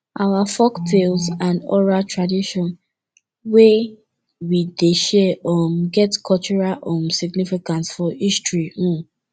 our folktales and oral tradition wey we dey share um get cultural um significance for history um